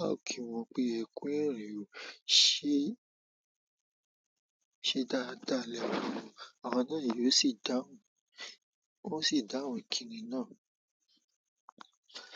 a ó kí wọn pé "ẹ kú ìrìn ọ, se ṣe dáadáa lẹ́wà o," àwọn náà yóò sì dáhùn, won o sì dáhùn ìkíni náà.